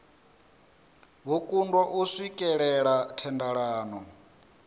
vho kundwa u swikelela thendelano